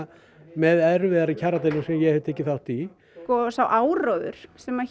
með erfiðari kjaraviðræðum sem ég hef tekið þátt í sá áróður sem